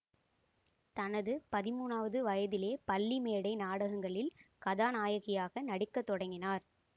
தனது பதிமூனாவது வயதிலே பள்ளி மேடை நாடங்களில் கதாநாயகியாக நடிக்க தொடங்கினார்